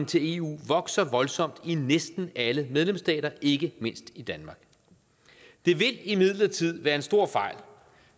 til eu vokser voldsomt i næsten alle medlemsstater ikke mindst i danmark det vil imidlertid være en stor fejl